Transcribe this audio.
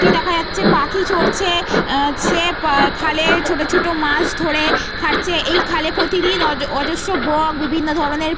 টি দেখা যাচ্ছে পাখি চড়ছে। সে খালে ছোট ছোট মাছ ধরে খাচ্ছে। এ খালে প্রতিদিন অজস্র বক বিভিন্ন ধরণের --